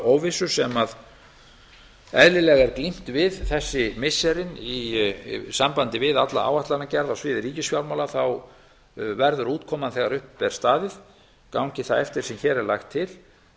óvissu sem eðlilega er glímt við þessi missirin í sambandi við alla áætlanagerð á sviði ríkisfjármála verður útkoman þegar upp er staðið gangi það eftir sem hér er lagt til